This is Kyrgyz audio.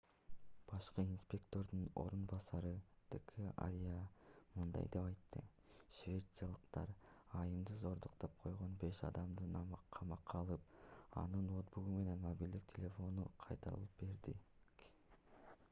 башкы инспектордун орун басары д.к. арья мындай деп айтты швейцариялык айымды зордуктап койгон беш адамды камакка алып анын ноутбугу менен мобилдик телефонун кайтарып бердик